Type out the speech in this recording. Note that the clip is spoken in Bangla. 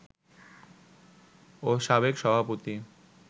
ও সাবেক সভাপতি